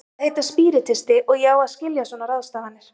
Ég á að heita spíritisti og ég á að skilja svona ráðstafanir.